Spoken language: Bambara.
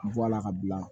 Bɔ a la ka bila